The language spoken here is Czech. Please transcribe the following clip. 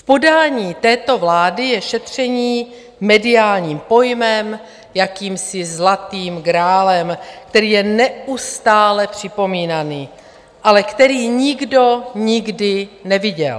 V podání této vlády je šetření mediálním pojmem, jakýmsi zlatým grálem, který je neustále připomínaný, ale který nikdo nikdy neviděl.